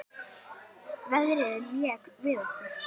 Veðrið lék við okkur.